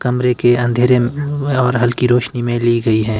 कमरे के अंधेरे और हल्की रोशनी में ली गई है।